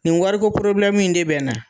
Nin wariko min de bɛ na.